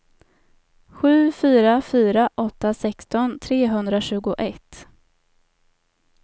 sju fyra fyra åtta sexton trehundratjugoett